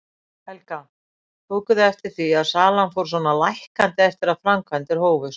Helga: Tóku þið eftir því að salan fór svona lækkandi eftir að framkvæmdir hófust?